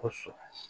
Kosɔn